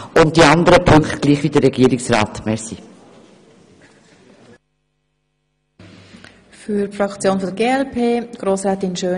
In den anderen Punkten folgen wir den Anträgen des Regierungsrats.